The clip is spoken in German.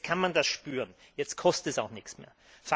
Jetzt kann man das spüren, es kostet jetzt auch nichts mehr.